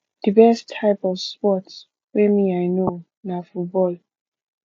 the best type of sports wey me i know na football